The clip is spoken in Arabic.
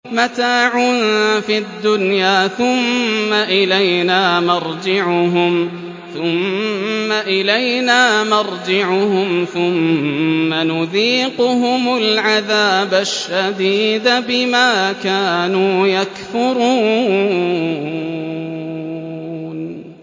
مَتَاعٌ فِي الدُّنْيَا ثُمَّ إِلَيْنَا مَرْجِعُهُمْ ثُمَّ نُذِيقُهُمُ الْعَذَابَ الشَّدِيدَ بِمَا كَانُوا يَكْفُرُونَ